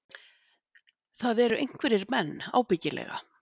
Það eru einhverjir menn, ábyggilega